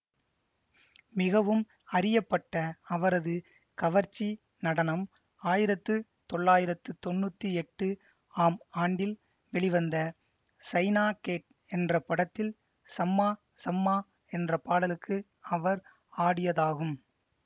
மிகவும் அறியப்பட்ட அவரது கவர்ச்சி நடனம் ஆயிரத்து தொள்ளாயிரத்து தொன்னூத்தி எட்டு ஆம் ஆண்டில் வெளிவந்த சைனா கேட் என்ற படத்தில் சம்மா சம்மா என்ற பாடலுக்கு அவர் ஆடியதாகும்